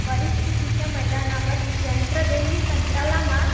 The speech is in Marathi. परिस्थितीच्या मैदानावर यंत्र देईल ही तंत्राला मात